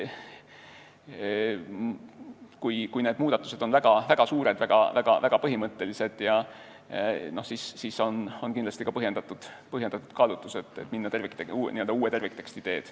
Kui tehtavad muudatused on väga suured, väga põhimõttelised, siis reeglina on põhjendatud minna uue tervikteksti teed.